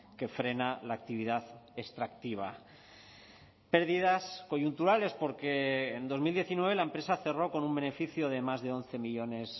que frena la actividad extractiva pérdidas coyunturales porque en dos mil diecinueve la empresa cerró con un beneficio de más de once millónes